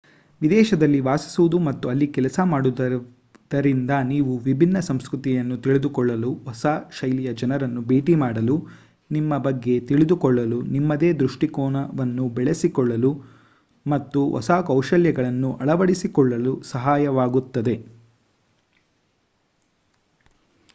ವಿದೇಶದಲ್ಲಿ ವಾಸಿಸುವುದು ಮತ್ತು ಅಲ್ಲಿ ಕೆಲಸ ಮಾಡುವುದರಿಂದ ನೀವು ವಿಭಿನ್ನ ಸಂಸ್ಕೃತಿಯನ್ನು ತಿಳಿದುಕೊಳ್ಳಲು ಹೊಸ ಶೈಲಿಯ ಜನರನ್ನು ಭೇಟಿ ಮಾಡಲು ನಿಮ್ಮ ಬಗ್ಗೆ ತಿಳಿದುಕೊಳ್ಳಲು ನಿಮ್ಮದೇ ದೃಷ್ಟಿಕೋನವನ್ನು ಬೆಳೆಸಿಕೊಳ್ಳಲು ಮತ್ತು ಹೊಸ ಕೌಶಲ್ಯಗಳನ್ನು ಅಳವಡಿಸಿಕೊಳ್ಳಲು ಸಹಾಯವಾಗುತ್ತದೆ